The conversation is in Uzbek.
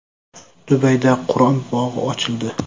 Dubayda Qur’on bog‘i ochildi.